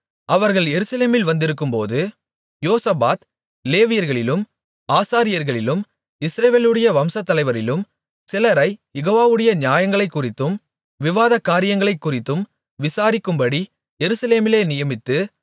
அவர்கள் எருசலேமில் வந்திருக்கும்போது யோசபாத் லேவியர்களிலும் ஆசாரியர்களிலும் இஸ்ரவேலுடைய வம்சத்தலைவரிலும் சிலரைக் யெகோவாவுடைய நியாயங்களைக்குறித்தும் விவாதக் காரியங்களைக்குறித்தும் விசாரிக்கும்படி எருசலேமிலே நியமித்து